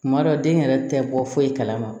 Kuma dɔ den yɛrɛ tɛ bɔ foyi kalama